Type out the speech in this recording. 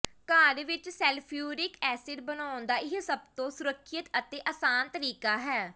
ਘਰ ਵਿਚ sulphuric acid ਬਣਾਉਣ ਦਾ ਇਹ ਸਭ ਤੋਂ ਸੁਰੱਖਿਅਤ ਅਤੇ ਅਸਾਨ ਤਰੀਕਾ ਹੈ